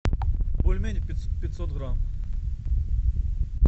бульмени пятьсот грамм